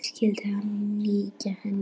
Skyldi hún líkjast henni?